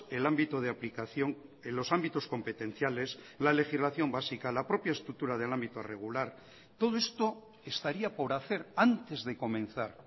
el ámbito de aplicación en los ámbitos competenciales la legislación básica la propia estructura del ámbito regular todo esto estaría por hacer antes de comenzar